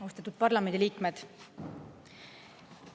Austatud parlamendiliikmed!